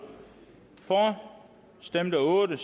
for stemte otte